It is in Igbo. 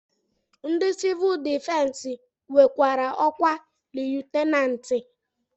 Ndị sivuul difensi nwekwara ọkwa liyutenanti